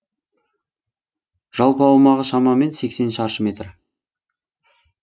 жалпы аумағы шамамен сексен шаршы метр